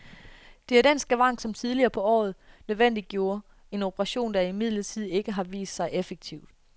Det er den skavank, som tidligere på året nødvendiggjorde en operation, der imidlertid ikke har vist sig effektiv.